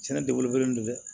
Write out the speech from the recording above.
Sɛnɛ dabɔlen don dɛ